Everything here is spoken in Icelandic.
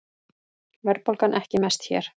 Verðbólgan ekki mest hér